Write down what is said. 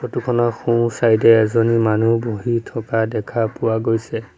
Photo খনৰ সোঁ side এ এজনী মানুহ বহি থকা দেখা পোৱা গৈছে।